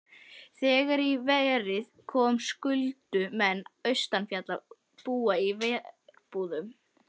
Þegar í verið kom skyldu menn austanfjalls búa í verbúðum.